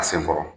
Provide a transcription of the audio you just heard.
A sen kɔrɔ